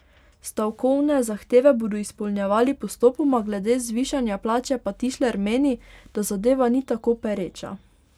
Stavkovne zahteve bodo izpolnjevali postopoma, glede zvišanja plače pa Tišler meni, da zadeva ni tako pereča.